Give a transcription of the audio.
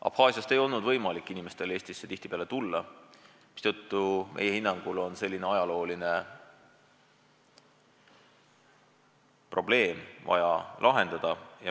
Abhaasiast ei olnud tihtipeale võimalik inimestel Eestisse tulla, mistõttu meie hinnangul on vaja see ajalooline probleem lahendada.